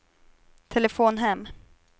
telefon hem